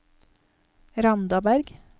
Randaberg